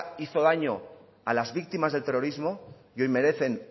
hizo daño a las víctimas del terrorismo y hoy merecen